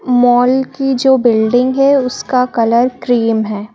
Mall की जो building है उसका कलर क्रीम है।